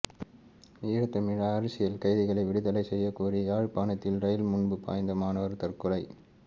ஈழத் தமிழ் அரசியல் கைதிகளை விடுதலை செய்யக் கோரி யாழ்ப்பாணத்தில் ரயில் முன்பாய்ந்து மாணவர் தற்கொலை